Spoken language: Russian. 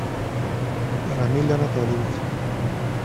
рамиль анатольевич